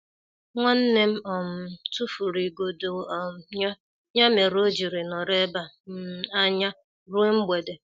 Nwannem um tufụrụ igodo um ya, ya mere ojiri nọrọ ebe um anya ruo mgbede.